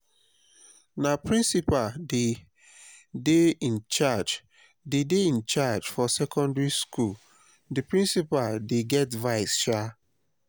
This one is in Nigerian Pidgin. na principal dey dey in-charge dey dey in-charge for secondary skool di principal dey get vice shaa.